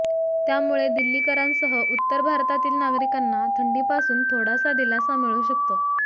त्यामुळे दिल्लीकरांसह उत्तर भारतातील नागरिकांना थंडीपासून थोडासा दिलासा मिळू शकतो